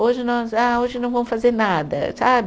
Hoje nós, ah, hoje não vamos fazer nada, sabe?